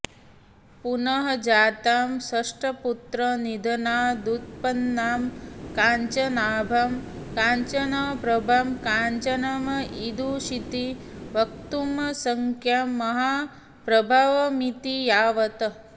पुनः जातां षट्पुत्रनिधनादुत्पन्नां काञ्चनाभां काञ्चनप्रभां काञ्चन ईदृशीति वक्तुमशक्यां महाप्रभावामिति यावत्